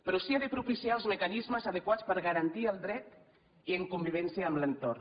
però sí que ha de propiciar els mecanismes adequats per garantir ne el dret i en convivència amb l’entorn